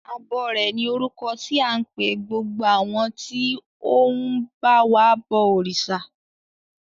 Abọrẹ̀ ni orúkọ tí à ń pe gbogbo àwọn tí ó ń ba wa bọ òrìṣà.